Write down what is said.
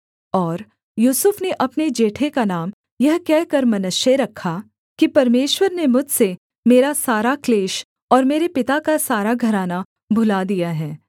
और यूसुफ ने अपने जेठे का नाम यह कहकर मनश्शे रखा कि परमेश्वर ने मुझसे मेरा सारा क्लेश और मेरे पिता का सारा घराना भुला दिया है